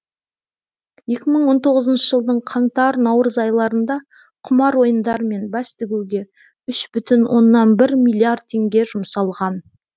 екі мың он тоғызыншы жылдың қаңтар наурыз айларында құмар ойындар мен бәс тігуге үш бүтін онна бір миллиард теңге жұмсалған